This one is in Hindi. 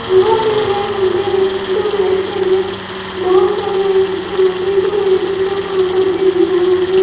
यहाँ पे है खम्बे हैं जो लाइट के हैं बहुत सारे यहाँ पे जो लाइटिंग का काम करते हैं यहाँ पे --